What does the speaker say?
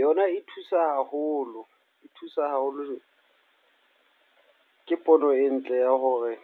Yona e thusa haholo. E thusa haholo, ke pono e ntle ya hore